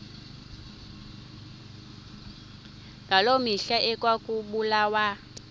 ngaloo mihla ekwakubulawa